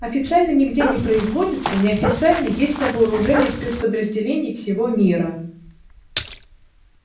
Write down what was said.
официально нигде не производится неофициально есть на вооружении спецподразделений всего мира